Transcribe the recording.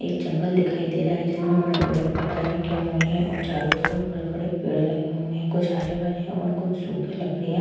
एक जंगल दिखाई दे रहा है जिसमें बड़े-बड़े पत्थर रखे हुए हैं और चारों तरफ बड़े-बड़े पेड़ लगे हुए हैं। कुछ हरे-भरे हैं और कुछ सूखी लड़कियाँ --